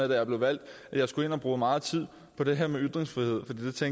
jeg blev valgt at jeg skulle bruge meget tid på det her med ytringsfriheden for